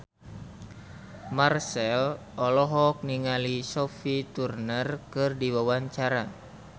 Marchell olohok ningali Sophie Turner keur diwawancara